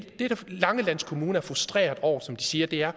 langeland kommune er frustreret over som de siger